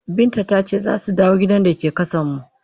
Binta ta ce za su dawo gidan da yake ƙasanmu.